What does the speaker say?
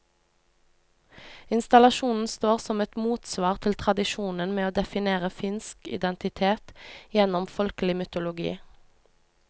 Installasjonen står som et motsvar til tradisjonen med å definere finsk identitet gjennom folkelig mytologi.